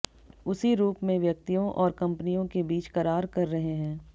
उसी रूप में व्यक्तियों और कंपनियों के बीच करार कर रहे हैं